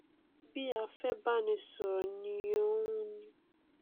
bí a fẹ báni sọrọ ni òun ni